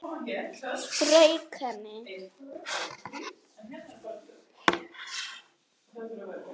Strauk henni.